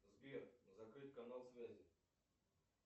сбер закрыть канал связи